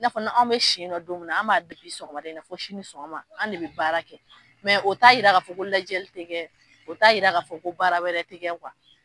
N'a fɔ anw bɛ si yen nɔ don min an b'a daminɛ sɔgɔmada in na, na sɛnɛ fɔ sini ni sɔgɔma an bɛ baara kɛ mɛ o t'a jira k'a fɔ ko lajɛli tɛ kɛ, o t'a jiraa a fɔ ko baara wɛrɛ tɛgɛ